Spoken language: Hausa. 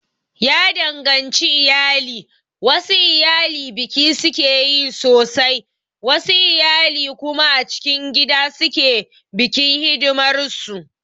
Ya danganci iyali, wasu iyali biki sukeyi sosai wasu iyali kuma a cikin gida suke bikin hidimar su